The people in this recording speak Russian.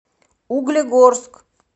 углегорск